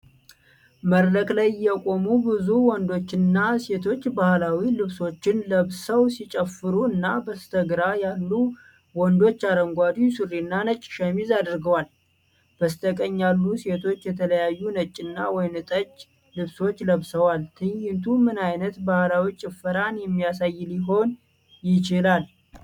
በመድረክ ላይ የቆሙ ብዙ ወንዶችና ሴቶች ባህላዊ ልብሶችን ለብሰው ሲጨፍሩ እና በስተግራ ያሉ ወንዶች አረንጓዴ ሱሪና ነጭ ሸሚዝ አድርገዋል። በስተቀኝ ያሉ ሴቶች የተለያዩ ነጭና ወይንጠጅ ልብሶች ለብሰዋል። ትዕይንቱ ምን ዓይነት ባህላዊ ጭፈራን የሚያሳይ ሊሆን ይችላል?